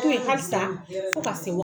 Mun ye halisa fɔ ko ka se